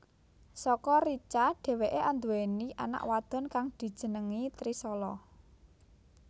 Saka Richa dheweké anduwèni anak wadon kang dijenengi Trishala